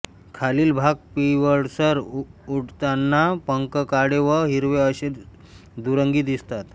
खालील भाग पिवळसर उडताना पंख काळे व हिरवे असे दुरंगी दिसतात